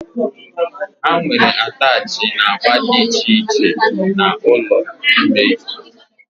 Ha nwere attachị na agba dị iche iche na ụlọ ime isi